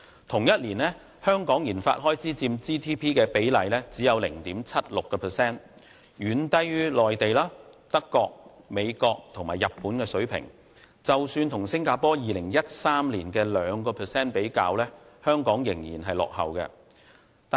同年，香港的研發開支只佔 GDP 的 0.76%， 遠低於內地、德國、美國和日本的水平，即使與新加坡2013年約 2% 比較，香港仍然落後。